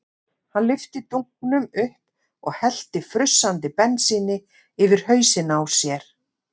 Hann lyfti dunknum upp og hellti frussandi bensíni yfir hausinn á sér.